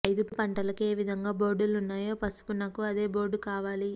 ఐదు పంటలకు ఏ విధంగా బోర్డులున్నాయో పసుపునకు అదే బోర్డు కావాలి